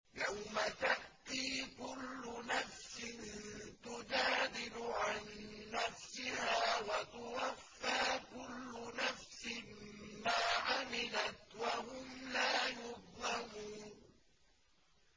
۞ يَوْمَ تَأْتِي كُلُّ نَفْسٍ تُجَادِلُ عَن نَّفْسِهَا وَتُوَفَّىٰ كُلُّ نَفْسٍ مَّا عَمِلَتْ وَهُمْ لَا يُظْلَمُونَ